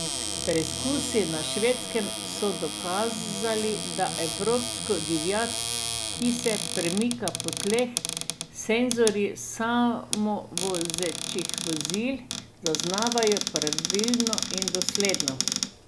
Preizkusi na Švedskem so dokazali, da evropsko divjad, ki se premika po tleh, senzorji samovozečih vozil zaznavajo pravilno in dosledno.